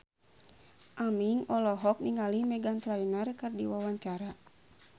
Aming olohok ningali Meghan Trainor keur diwawancara